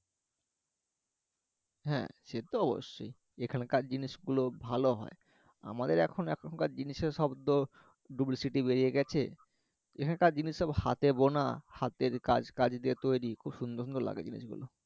হ্যা সে তো অবশ্যই এখানকার জিনিস গুলো ভালো হয় আমাদের এখন এখনকার জিনিসে সব তো বেড়ে গেছে এখানকার জিনিস সব হাতে বোনা হাতের কাজ কাজে গিয়ে তৈরি খুব সুন্দর সুন্দর লাগে জিনিসগুলো